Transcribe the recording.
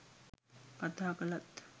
කතා කළත්